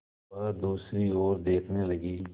वह दूसरी ओर देखने लगी